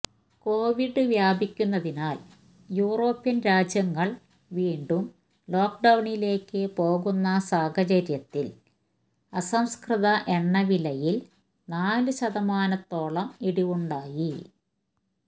Covid വ്യാപിക്കുന്നതിനാല് European രാജ്യങ്ങള് വീണ്ടും ലോക്ഡൌണിലേയ്ക്കു പോകുന്ന സാഹചര്യത്തില് അസംസ്കൃത എണ്ണവിലയില് നാലുശതമാനത്തോളം ഇടിവുണ്ടായി